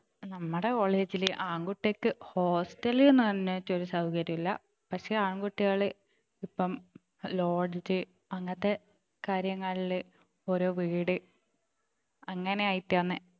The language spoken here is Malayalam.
നമ്മടെ college ല് ആൺകുട്ടികൾക്ക് hostel എന്നു പറഞ്ഞിട്ടു ഒരു സൗകര്യം ഇല്ല പക്ഷെ ആൺകുട്ടികള് ഇപ്പൊ lodge അങ്ങനത്തെ കാര്യങ്ങളില് ഒരു വീട് അങ്ങനെ ആയിട്ടാണ്